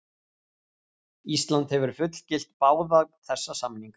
Ísland hefur fullgilt báða þessa samninga.